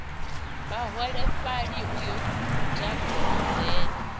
vhaholefhali u yo guda kulidzele